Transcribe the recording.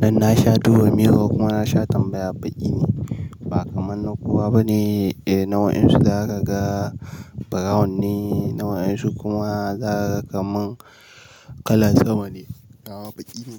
Dan na sha duba mirror kuma na sha tambaya baƙi ne. Ba kamar na kowa bane, eh, nawa ƴansu za ka ga brown ne, nawa waƴansu kuma za ka ga kamar kalar sama ne. A'a, baƙi ne.